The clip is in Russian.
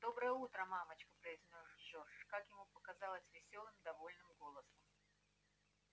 доброе утро мамочка произнёс джордж как ему показалось весёлым довольным голосом